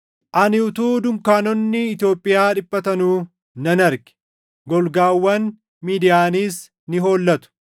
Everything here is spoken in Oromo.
Ani utuu dunkaanonni Itoophiyaa dhiphatanuu nan arge; golgaawwan Midiyaaniis ni hollatu.